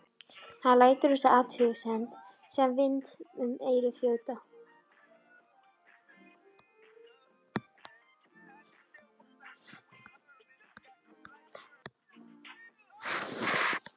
Hann lætur þessa athugasemd sem vind um eyru þjóta.